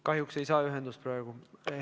Kahjuks ei saa praegu ühendust.